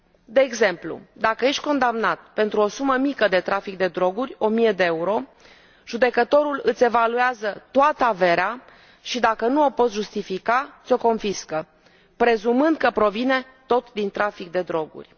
De exemplu, dacă ești condamnat pentru o sumă mică de trafic de droguri 1000 de euro judecătorul îți evaluează toată averea și, dacă nu o poți justifica, ți o confiscă, prezumând că provine tot din trafic de droguri.